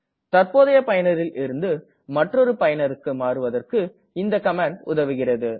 தற்போதைய பயனரில் இருந்து மற்றொரு பயனருக்கு மாறுவதற்கு இந்த கமாண்ட் உதவுகிறது